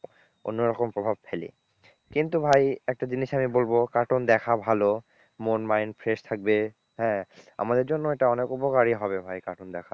অন্যরকম প্রভাব ফেলে। কিন্তু ভাই একটা জিনিস আমি বলবো cartoon দেখা ভালো মন mind fresh থাকবে হ্যাঁ আমাদের জন্য এটা অনেক উপকারী হবে ভাই cartoon দেখা।